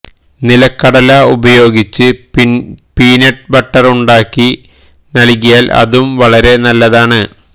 നിലക്കടല ഉപയോഗിച്ച് peanut butter ഉണ്ടാക്കി നല്കിയാല് അതും വളരെ നല്ലതാണ്